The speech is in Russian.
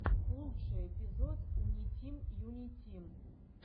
лучший эпизод унитим юнитим